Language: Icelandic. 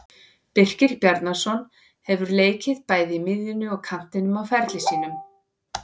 Birkir Bjarnason hefur leikið bæði á miðjunni og kantinum á ferli sínum.